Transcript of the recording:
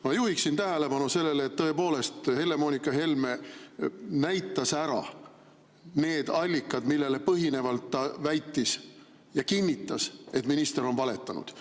Ma juhiksin tähelepanu sellele, et tõepoolest Helle‑Moonika Helme näitas ära need allikad, millele põhinevalt ta väitis ja kinnitas, et minister on valetanud.